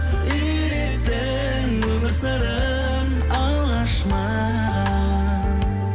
үйреттің өмір сырын алғаш маған